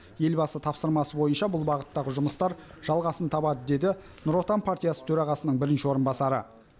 елбасы тапсырмасы бойынша бұл бағыттағы жұмыстар жалғасын табады деді нұр отан партиясы төрағасының бірінші орынбасары